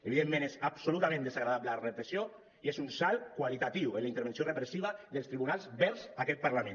evidentment és absolutament desagradable la repressió i és un salt qualitatiu en la intervenció repressiva dels tribunals vers aquest parlament